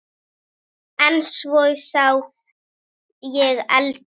En svo sá ég eldinn.